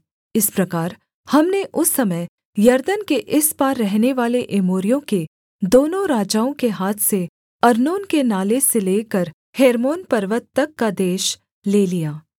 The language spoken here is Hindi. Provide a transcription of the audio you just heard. इस प्रकार हमने उस समय यरदन के इस पार रहनेवाले एमोरियों के दोनों राजाओं के हाथ से अर्नोन के नाले से लेकर हेर्मोन पर्वत तक का देश ले लिया